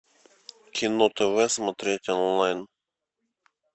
кино тв смотреть онлайн